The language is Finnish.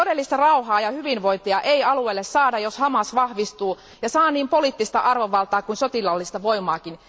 Todellista rauhaa ja hyvinvointia ei alueelle saada, jos Hamas vahvistuu ja saa niin poliittista arvovaltaa kuin sotilaallista voimaakin.